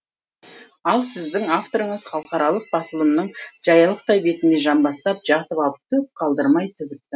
ал сіздің авторыңыз халықаралық басылымның жаялықтай бетіне жамбастап жатып алып түк қалдырмай тізіпті